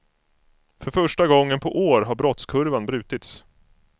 För första gången på år har brottskurvan brutits.